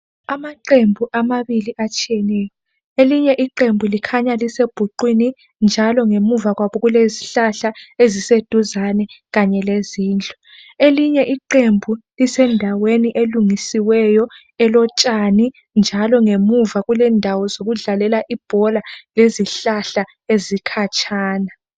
amaqembu amabili atshiyeneyo elinye iqembu likhanya lisebhuqwini njalo ngemuva kwabo kulezihlahla eziseduzane kanye lezindlu elinye iqembu lisendaweni elungisiweyo elotshani njalo ngemuva kulendawo zokudlalela ibhola lezihlahla ezikhatshana